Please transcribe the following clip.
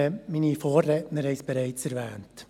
Meine Vorredner haben es bereits erwähnt.